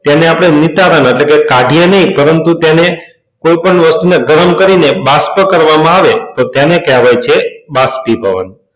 તેને આપણે નિતારણ એટલે કે કાઢીયે નહીં પરંતુ તેને કોઈપણ વસ્તુ માં ગરમ કરીને બાષ્પ કરવામાં આવે તો તેને કહેવાય છે બાષ્પીભવન.